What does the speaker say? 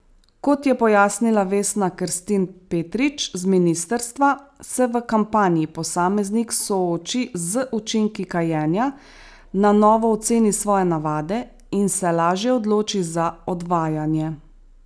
Kot je pojasnila Vesna Kerstin Petrič z ministrstva, se v kampanji posameznik sooči z učinki kajenja, na novo oceni svoje navade in se lažje odloči za odvajanje.